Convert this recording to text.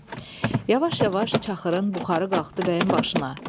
Yavaş-yavaş çaxırın buxarı qalxdı bəyin başına.